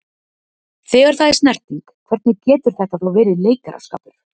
Þegar það er snerting, hvernig getur þetta þá verið leikaraskapur?